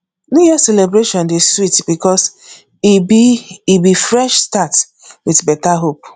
new year celebration dey sweet because e be be fresh start with better hope